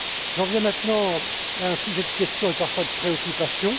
J'en viens maintenant à un sujet de questions et, parfois, de préoccupations.